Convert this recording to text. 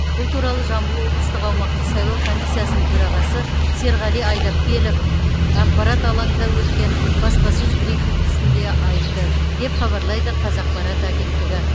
бұл туралы жамбыл облыстық аумақтық сайлау комиссиясының төрағасы серғали айдапкелов ақпарат алаңында өткен баспасөз брифингісінде айтты деп хабарлайды қазақпарат агенттігі